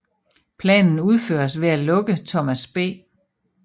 Planen udføres ved at lukke Thomas B